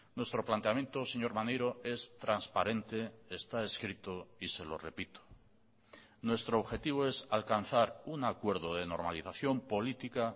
nuestro planteamiento señor maneiro es transparente está escrito y se lo repito nuestro objetivo es alcanzar un acuerdo de normalización política